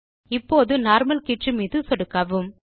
இப்போது நார்மல் கீற்று மீது சொடுக்கவும்